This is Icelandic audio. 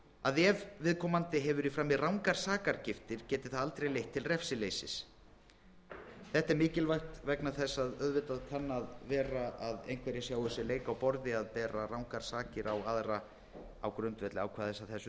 að ef viðkomandi hefur í frammi rangar sakargiftir geti það aldrei leitt til refsileysis þetta er mikilvægt vegna þess að auðvitað kann að vera að einhverjir sjái sér leik á borði að bera rangar sakir á aðra á grundvelli ákvæðis af þessu